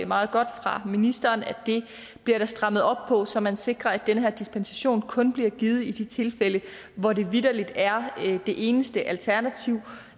meget godt fra ministeren at det bliver der strammet op på så man sikrer at den her dispensation kun bliver givet i de tilfælde hvor det vitterlig er det eneste alternativ